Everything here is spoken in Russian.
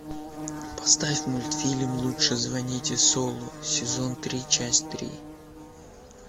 поставь мультфильм лучше звоните солу сезон три часть три